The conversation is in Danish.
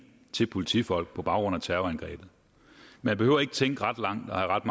til politifolk på baggrund af terrorangrebet man behøver ikke tænke ret langt og have ret